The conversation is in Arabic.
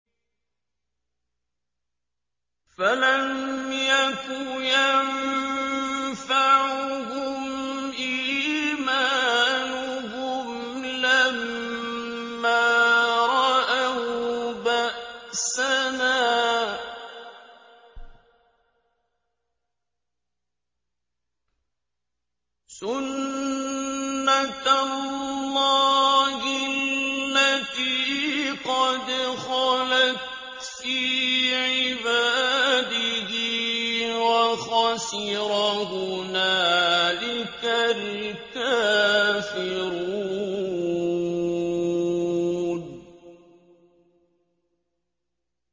فَلَمْ يَكُ يَنفَعُهُمْ إِيمَانُهُمْ لَمَّا رَأَوْا بَأْسَنَا ۖ سُنَّتَ اللَّهِ الَّتِي قَدْ خَلَتْ فِي عِبَادِهِ ۖ وَخَسِرَ هُنَالِكَ الْكَافِرُونَ